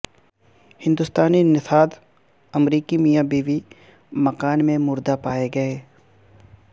ہندوستانی نژاد امریکی میاں بیوی مکان میں مردہ پائے گئے